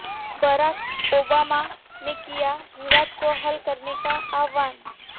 Barack Obama ने किया विवाद को हल करने का आह्वान